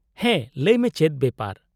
-ᱦᱮᱸ, ᱞᱟᱹᱭ ᱢᱮ ᱪᱮᱫ ᱵᱮᱯᱟᱨ ?